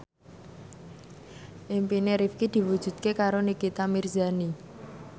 impine Rifqi diwujudke karo Nikita Mirzani